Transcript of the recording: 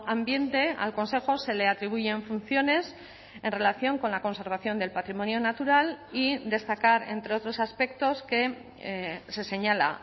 ambiente al consejo se le atribuyen funciones en relación con la conservación del patrimonio natural y destacar entre otros aspectos que se señala